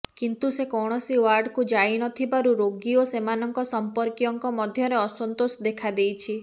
କିନ୍ତୁ ସେ କୌଣସି ୱାର୍ଡକୁ ଯାଇ ନ ଥିବାରୁ ରୋଗୀ ଓ ସେମାନଙ୍କ ସମ୍ପର୍କୀୟଙ୍କ ମଧ୍ୟରେ ଅସନ୍ତୋଷ ଦେଖାଦେଇଛି